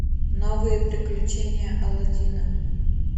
новые приключения алладина